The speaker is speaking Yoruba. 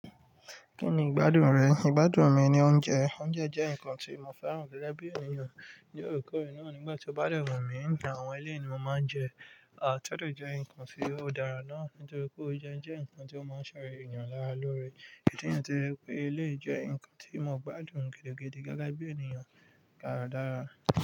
Kí ni ìgbádùn rẹ̀? Ìgbádùn mi ni oúnjẹ. Oúnjẹ jẹ́ nǹkan tí mo fẹ́ràn gẹ́gẹ́ bí ènìyàn. Ní oorekoore náà, nígbà tí ó bá de wun mi ní àwọn éleyi ni mo máa ń jẹ, a tiò de jẹ́ nǹkan tí ó dára náà nítorí pé oúnjẹ jẹ́ nǹkan tí ó máa ń ṣeyan lára lóore. Mo jẹ̀yàn to jẹ̀ pé ele jẹ́ nǹkan tí mo gbádùn gidi gidi gege bi ènìyàn dáradára.